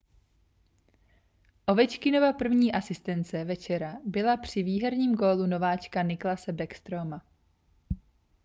ovečkinova první asistence večera byla při výherním gólu nováčka nicklase backstroma